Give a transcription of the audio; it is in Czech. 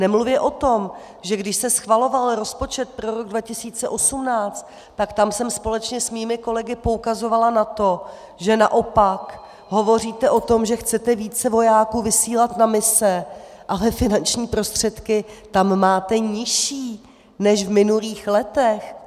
Nemluvě o tom, že když se schvaloval rozpočet pro rok 2018, tak tam jsem společně s mými kolegy poukazovala na to, že naopak hovoříte o tom, že chcete více vojáků vysílat na mise, ale finanční prostředky tam máte nižší než v minulých letech.